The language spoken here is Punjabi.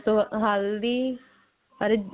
ਬਾਅਦ ਹਲਦੀ ਅਰ